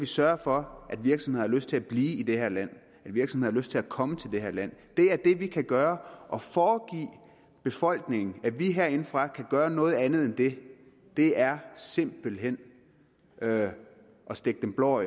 sørge for at virksomheder har lyst til at blive i det her land og at virksomheder har lyst til at komme til det her land det er det vi kan gøre og at foregive befolkningen at vi herindefra kan gøre noget andet end det det er simpelt hen at at stikke dem blår